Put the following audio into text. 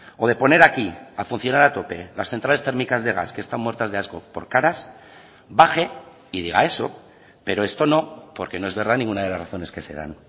o de poner aquí a funcionar a tope las centrales térmicas de gas que están muertas de asco por caras baje y diga eso pero esto no porque no es verdad ninguna de las razones que se dan